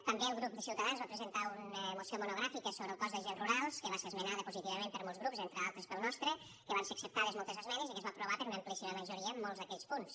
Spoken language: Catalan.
també el grup de ciutadans va presentar una moció monogràfica sobre el cos d’agents rurals que va ser esmenada positivament per molts grups entre altres pel nostre que van ser acceptades moltes esmenes i que es va aprovar per una amplíssima majoria en molts d’aquells punts